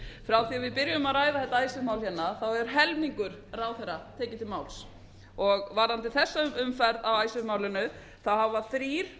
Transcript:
við byrjuðum að ræða þetta icesave mál hefur helmingur ráðherra tekið til máls og varðandi þessa umferð á icesave málinu hafa þrír